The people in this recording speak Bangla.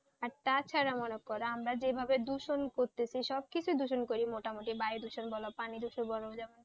আর তাছাড়া মনে করো আমরা যেভাবে দূষণ করছি, সবকিছুই দূষণ করি মোটামুটি বায়ুদূষণ বল পানি দূষণ বলো,